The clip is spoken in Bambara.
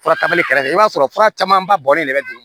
Fura tali kɛrɛfɛ i b'a sɔrɔ fura caman ba bɔlen de bɛ dun